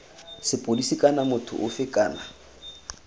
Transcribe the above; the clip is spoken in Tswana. sepodisi kana motho ofe kana